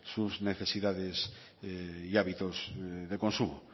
sus necesidades y hábitos de consumo